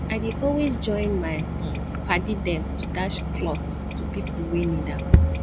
i dey always join my um paddy dem to dash clot to pipu wey need am